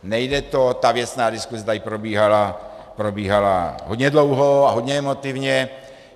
Nejde to, ta věcná diskuse tady probíhala hodně dlouho a hodně emotivně.